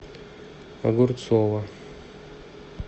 огурцова